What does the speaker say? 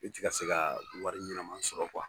E tɛ ka se ka wari ɲɛnama sɔrɔ